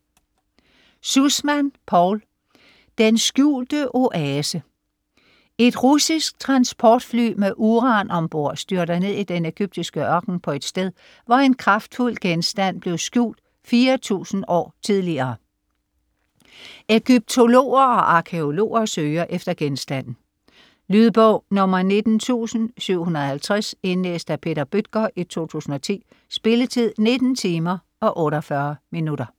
Sussman, Paul: Den skjulte oase Et russisk transportfly med uran om bord styrter ned i den ægyptiske ørken på et sted, hvor en kraftfuld genstand blev skjult 4000 år tidligere. Ægyptologer og arkæologer søger efter genstanden. Lydbog 19750 Indlæst af Peter Bøttger, 2010. Spilletid: 19 timer, 48 minutter.